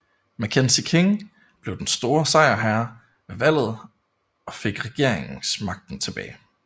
Mackenzie King blev den store sejrherre ved valget og fik regeringsmagten tilbage